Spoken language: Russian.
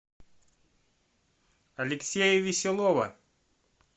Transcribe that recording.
алексея веселова